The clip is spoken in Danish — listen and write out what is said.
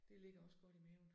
Det ligger også godt i maven